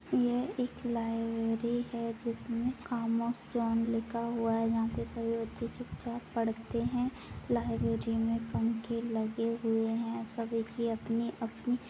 यह एक लाइब्रेरी है जिसमें खामोश जोन लिखा हुआ है यहाँ पे सभी बच्चे चुपचाप पढ़ते हैं लाइब्रेरी में पंखे लगे हुए हैं सभी की अपनी-अपनी --